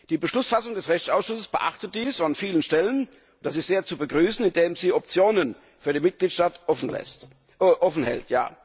Die Beschlussfassung des Rechtsausschusses beachtet dies an vielen Stellen das ist sehr zu begrüßen indem sie Optionen für die Mitgliedstaaten offen hält.